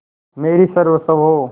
मेरी सर्वस्व हो